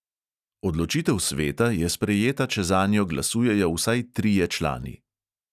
Odločitev sveta je sprejeta, če zanjo glasujejo vsaj trije člani.